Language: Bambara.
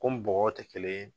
bɔgɔw tɛ kelen ye.